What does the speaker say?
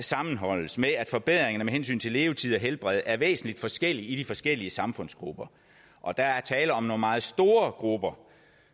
sammenholdes med at forbedringerne med hensyn til levetid og helbred er væsentlig forskellige i de forskellige samfundsgrupper og der er tale om nogle meget store grupper